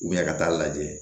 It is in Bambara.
ka taa lajɛ